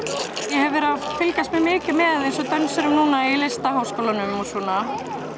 ég hef verið að fylgjast mikið með eins og núna dönsurum í Listaháskólanum og svona